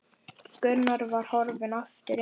Gunnar var horfinn aftur inn.